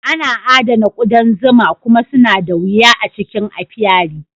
Ana adana ƙudan zuma kuma suna da wuya a cikin apiary.